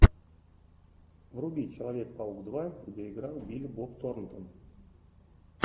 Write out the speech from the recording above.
вруби человек паук два где играл билли боб торнтон